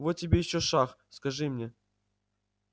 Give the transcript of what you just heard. вот тебе ещё шах скажи мне